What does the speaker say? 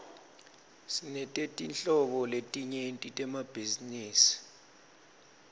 sinetetinhlobo letinyenti temabhizinisi